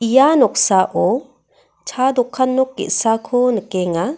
ia noksao cha dokan nok ge·sako nikenga.